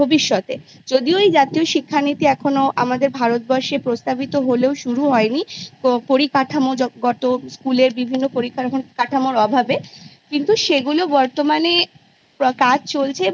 ভবিষ্যতে যদিও এই জাতীয় শিক্ষানীতি আমাদের ভারতবর্ষে প্রস্তাবিত হলেও শুরু হয়নি পরিকাঠামোগত School এর বিভিন্ন পরিকাঠামোর অভাবে কিন্তু সেগুলো বর্তমানে কাজ চলছে এবং